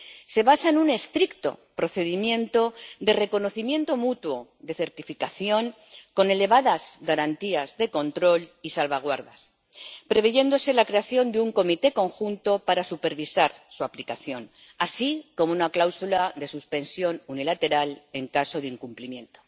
Se basa en un estricto procedimiento de reconocimiento mutuo, de certificación con elevadas garantías de control y salvaguardas, previéndose la creación de un Comité Conjunto para supervisar su aplicación, así como una cláusula de suspensión unilateral en caso de incumplimiento.